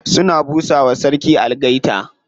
Suna busa wa sarki algaita.